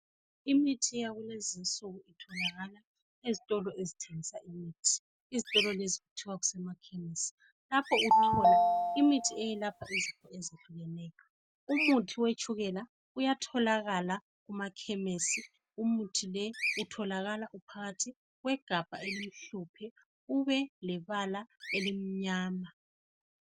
Imithi yakulezi insuku itholakala ezitolo ezithengisa imithi. Izitolo lezi kuthiwa kusemakhemisi lapho uthola imithi eyelapha izifo ezinengi. Umuthi wetshukela uyatholakala uphakathi kwegabha elimhlophe elilebala elimnyama.